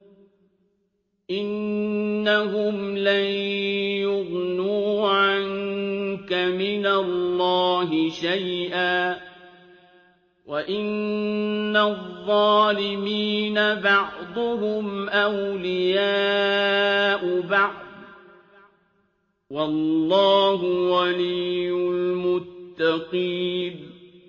إِنَّهُمْ لَن يُغْنُوا عَنكَ مِنَ اللَّهِ شَيْئًا ۚ وَإِنَّ الظَّالِمِينَ بَعْضُهُمْ أَوْلِيَاءُ بَعْضٍ ۖ وَاللَّهُ وَلِيُّ الْمُتَّقِينَ